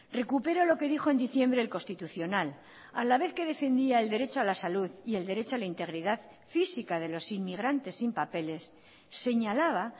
recupero lo que dijo en diciembre el constitucional a la vez que defendía el derecho a la salud y el derecho a la integridad física de los inmigrantes sin papeles señalaba